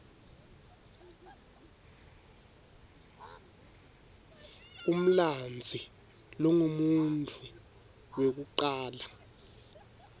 umlandzi longumuntfu wekucala